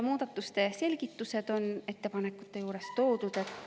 Muudatuste selgitused on ettepanekute juures toodud.